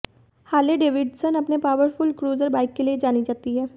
Harley Davidson अपने powerful cruiser bike के लिए जानी जाती है